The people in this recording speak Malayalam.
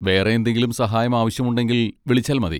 വേറെ എന്തെങ്കിലും സഹായം ആവശ്യം ഉണ്ടെങ്കിൽ, വിളിച്ചാൽ മതി.